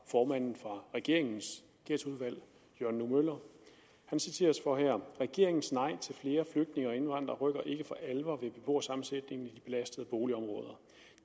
formanden for regeringens ghettoudvalg jørgen nue møller regeringens nej til flere flygtninge og indvandrere rykker ikke for alvor ved beboersammensætningen i de belastede boligområder